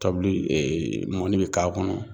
Tabili mɔni bɛ k'a kɔnɔ